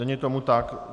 Není tomu tak.